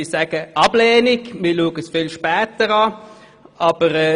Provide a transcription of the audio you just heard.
Sara Ferraro (d und f) ablehnen und das Anliegen auf später verschieben sollen.